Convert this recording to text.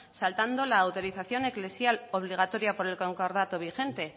saltando la autorización eclesial obligatoria por el concordato vigente